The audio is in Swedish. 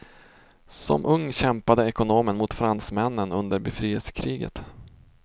Som ung kämpade ekonomen mot fransmännen under befrielsekriget.